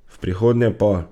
V prihodnje pa ...